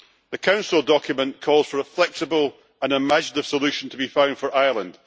The Council document calls for a flexible and imaginative solution to be found for Ireland.